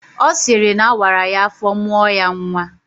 Ọ sịrị na awara ya afọ mụọ ya nnwa